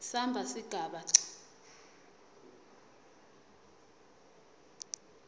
samba sigaba c